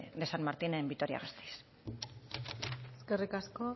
san martin en vitoria gasteiz eskerrik asko